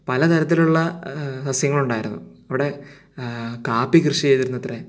പലതരത്തിലുള്ള സസ്യങ്ങൾ ഉണ്ടായിരുന്നു അവിടെ കാപ്പി കൃഷി ചെയ്തിരുന്നത്രെ